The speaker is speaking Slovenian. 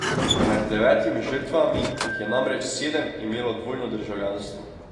Med devetimi žrtvami jih je namreč sedem imelo dvojno državljanstvo.